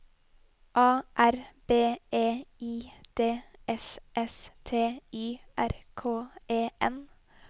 A R B E I D S S T Y R K E N